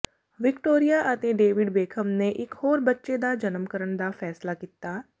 Victoria ਅਤੇ David Beckham ਨੇ ਇਕ ਹੋਰ ਬੱਚੇ ਦਾ ਜਨਮ ਕਰਨ ਦਾ ਫ਼ੈਸਲਾ ਕੀਤਾ